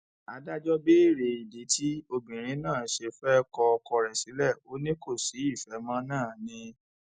adájọ béèrè ìdí tí obìnrin náà ṣe fẹẹ kọ ọkọ rẹ sílẹ ò ní kò sí ìfẹ mọ náà ni